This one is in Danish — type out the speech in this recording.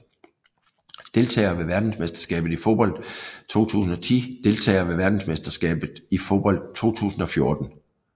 Deltagere ved verdensmesterskabet i fodbold 2010 Deltagere ved verdensmesterskabet i fodbold 2014